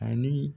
Ani